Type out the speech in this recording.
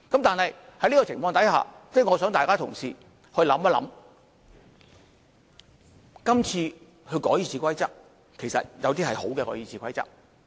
但是，在這情況下，我想大家同事思考一下，今次修改《議事規則》，其實有些是好的《議事規則》。